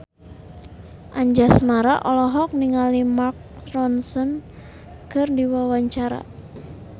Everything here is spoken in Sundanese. Anjasmara olohok ningali Mark Ronson keur diwawancara